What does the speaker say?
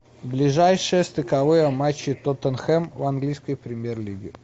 ближайшие стыковые матчи тоттенхэм в английской премьер лиге